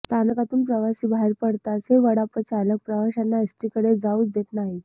स्थानकातून प्रवासी बाहेर पडताच हे वडापचालक प्रवाशांना एसटीकडे जाऊच देत नाहीत